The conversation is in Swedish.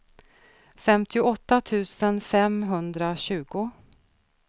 femtioåtta tusen femhundratjugo